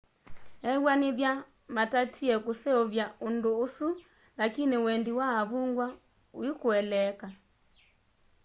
ewanĩthya matatĩe kũseũvya ũndũ ũsũ lakĩnĩ wendĩ wa avũngwa ũĩkũeleeka